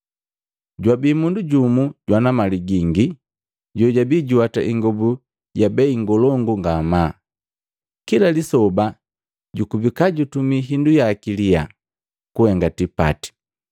“Jwabii mundu jumu jwana mali gingi, jojabii juwata ingobu ya bei ngolongu ngamaa, kila lisoba jukubika jutumi hindu yaki lyaa kuhenga tipati.